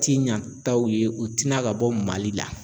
Ti ɲantaw ye u tɛna ka bɔ Mali la.